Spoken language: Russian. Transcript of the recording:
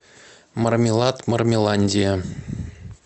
мармелад мармеландия